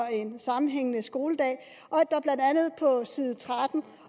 sammenhængende skoledag blandt andet på side tretten